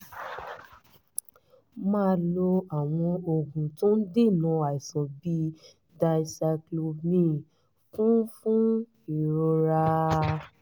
máa lo àwọn oògùn tó ń dènà àìsàn bíi dicyclomine fún fún ìrora